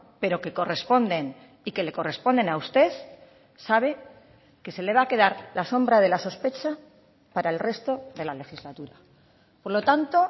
pero que corresponden y que le corresponden a usted sabe que se le va a quedar la sombra de la sospecha para el resto de la legislatura por lo tanto